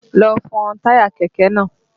Lọ fọ táyà kẹ̀kẹ́ náà!